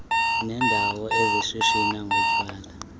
leendawo ezishishina ngotywala